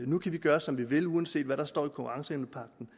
nu kan vi gøre som vi vil uanset hvad der står i konkurrenceevnepagten